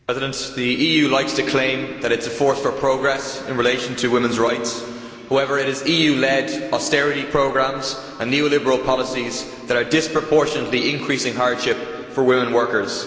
Mr President, the EU likes to claim that it is a fort for progress in relation to women's rights. However it is EU led austerity programmes and neoliberal policies that are disproportionately increasing hardship for women workers.